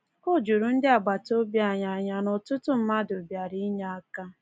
O juru ndị agbataobi anyị anya na ọtụtụ mmadụ bịara inye aka.